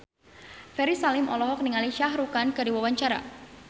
Ferry Salim olohok ningali Shah Rukh Khan keur diwawancara